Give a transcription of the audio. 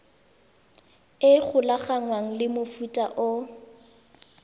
e golaganngwang le mofuta o